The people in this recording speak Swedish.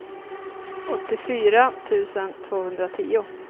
åttiofyra tusen tvåhundratio